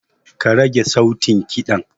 Karage sautin ƙidan.